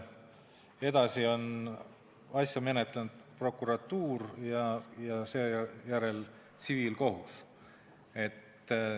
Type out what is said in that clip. Edasi on asja menetlenud prokuratuur ja seejärel tsiviilkohus.